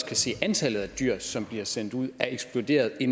kan se at antallet af dyr som bliver sendt ud er eksploderet i